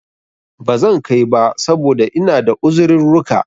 Bazan kai ba, saboda ina da uzirurruka